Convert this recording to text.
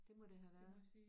Det må det have været